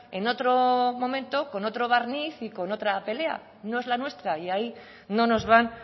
en otro momento con otro barniz y con otra pelea no es la nuestra y ahí no nos van